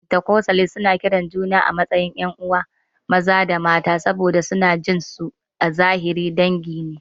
Fentakostalis suna kiran juna 'yan'uwa maza da mata saboda suna jin su a zahiri dangi ne.